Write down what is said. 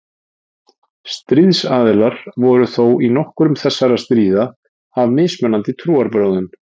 Stríðsaðilar voru þó í nokkrum þessara stríða af mismunandi trúarbrögðum.